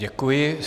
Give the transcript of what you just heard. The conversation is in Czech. Děkuji.